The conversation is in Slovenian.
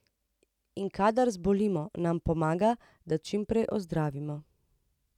In kadar zbolimo, nam pomaga, da čim prej ozdravimo.